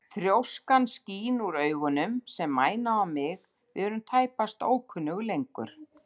Þrjóskan skín úr augunum sem mæna á mig, við erum tæpast ókunnug lengur.